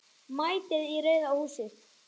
MÆTIÐ Í RAUÐA HÚSIÐ.